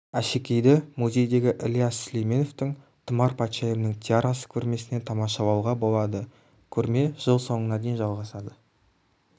әшекейді музейдегі ілияс сүлейменовтің тұмар патшайымның тиарасы көрмесінен тамашалауға болады көрме жыл соңына дейін жалғасады